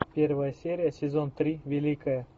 первая серия сезон три великая